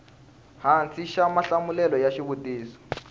hansi xa mahlamulelo ya xivutiso